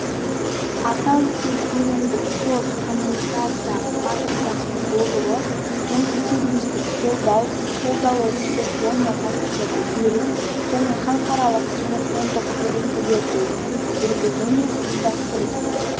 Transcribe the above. аса үлкен көлемді кросс-коммутация матрицасының болуы мультисервистік қолдау қолдауы телефония факстерді беру және халықаралық телефондық сөйлесулерді жүргізу мен ұйымдастыру